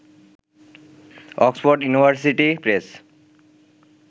Oxford University press